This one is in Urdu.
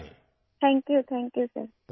شکریہ، شکریہ سر